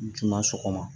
Juma sɔgɔma